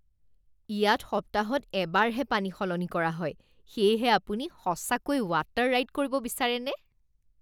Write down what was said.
ইয়াত সপ্তাহত এবাৰহে পানী সলনি কৰা হয়, সেয়েহে আপুনি সঁচাকৈয়ে ৱাটাৰ ৰাইড কৰিব বিচাৰেনে?